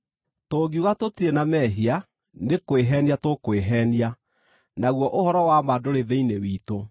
Tũngiuga tũtirĩ na mehia, nĩ kwĩheenia tũkwĩheenia, naguo ũhoro wa ma ndũrĩ thĩinĩ witũ.